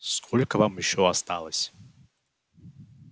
сколько вам ещё осталось